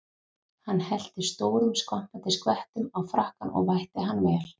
Hann hellti stórum skvampandi skvettum á frakkann og vætti hann vel.